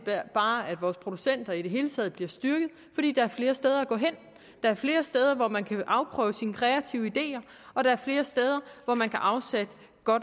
bare at vores producenter i det hele taget bliver styrket fordi der er flere steder at gå hen der er flere steder hvor man kan afprøve sine kreative ideer og der er flere steder hvor man kan afsætte